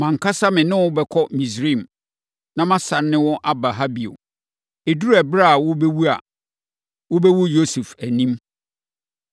Mʼankasa me ne wo bɛkɔ Misraim, na masane ne wo aba ha bio. Ɛduru ɛberɛ a worebɛwu a, wobɛwu Yosef anim.”